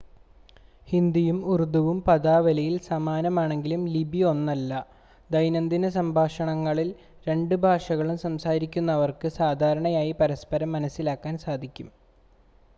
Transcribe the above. ഹിന്ദിയും ഉറുദുവും പദാവലിയിൽ സമാനമാണെങ്കിലും ലിപി ഒന്നല്ല ദൈനംദിന സംഭാഷണങ്ങളിൽ രണ്ട് ഭാഷകളും സംസാരിക്കുന്നവർക്ക് സാധാരണയായി പരസ്പരം മനസ്സിലാക്കാൻ സാധിക്കും